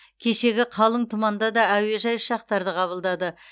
кешегі қалың тұманда да әуежай ұшақтарды қабылдады